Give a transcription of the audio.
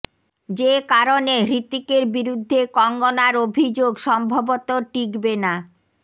যে কারণে হৃতিকের বিরুদ্ধে কঙ্গনার অভিযোগ সম্ভবত টিকবে না